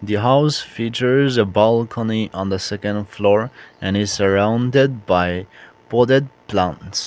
the house features balcony in the second floor and surrounded by potted plants.